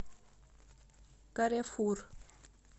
каррефур